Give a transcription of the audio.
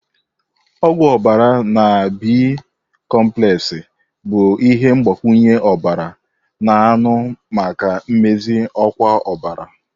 Ogwu obara na B.komplexi bụ ihe mgbakwunye ọbara a-na anu maka mmezi ọkwa ọbara.